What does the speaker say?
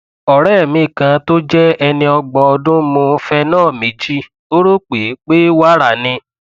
ọrẹ mi kan tó jẹ ẹni ọgbọn ọdún mu cs] phenol méjì ó rò pé pé wàrà ni